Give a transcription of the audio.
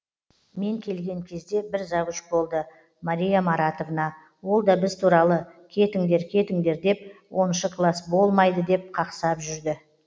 мен келген кезде бір завуч болды мария маратовна ол да біз туралы кетіңдер кетіңдер деп оныншы класс болмайды деп қақсап жүрді